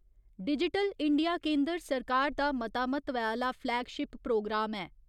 Digital India केन्दर सरकार दा मता म्हत्वै आह्‌ला फ्लैगशिप प्रोग्राम ऐ।